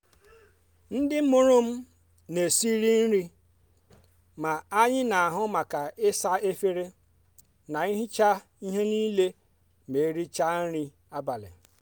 ndị mụrụ m na esiri nri ma anyị n'ahu maka isa efere na ihichasị ihe niile ma erichaa nri abalị.